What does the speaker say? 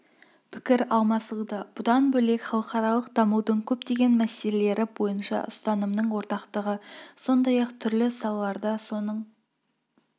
пікір алмасылды бұдан бөлек халықаралық дамудың көптеген мәселелері бойынша ұстанымның ортақтығы сондай-ақ түрлі салаларда соның